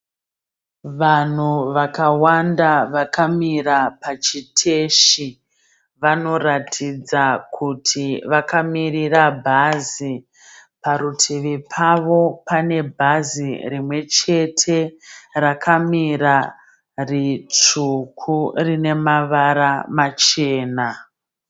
Vanhu vakawanda vakamira pachiteshi. Vanoratidza kuti vakamirira bhazi. Parutivi pavo pane bhazi rimwechete rakamira ritsvuku rine mavara machena.